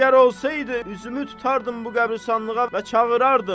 Əgər olsaydı üzümü tutardım bu qəbristanlığa və çağırardım.